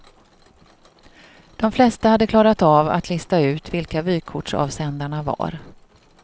De flesta hade klarat av att lista ut vilka vykortsavsändarna var.